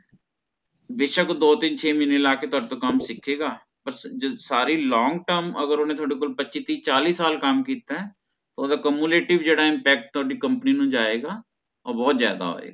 ਬੇਸ਼ਕ ਦੋ ਤਿੰਨ ਛੇ ਮਹੀਨੇ ਲਾ ਕੇ ਤੁਹਾਡੇ ਤੋਂ ਕੰਮ ਸਿੱਖੇਗਾ ਪਰ ਸਾਰੀ long term ਅਗਰ ਓਹਨੇ ਤੁਹਾਡੇ ਕੋਲੋਂ ਪੱਚੀ ਤਿਹ ਚਾਲੀ ਸਾਲ ਕੰਮ ਕੀਤਾ ਏ ਓਹਦੇ cumulative ਜਿਹੜਾ impact ਹੈ ਓਹਦੀ company ਨੂੰ ਜਾਏਗਾ ਉਹ ਬੋਹੋਤ ਜ਼ਿਆਦਾ ਹੋਏਗਾ